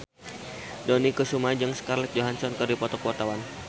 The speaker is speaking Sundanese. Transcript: Dony Kesuma jeung Scarlett Johansson keur dipoto ku wartawan